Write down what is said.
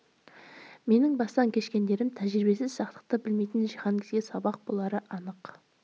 менің бастан кешкендерім тәжірибесіз сақтықты білмейтін жиһанкезге сабақ болары анық